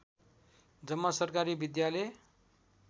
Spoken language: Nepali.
जम्मा सरकारी विद्यालय